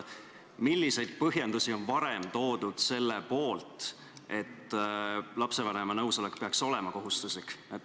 Milliseid põhjendusi on varem toodud selle poolt, et lapsevanema nõusolek peaks olema kohustuslik?